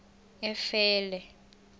efele